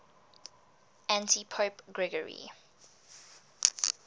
antipope gregory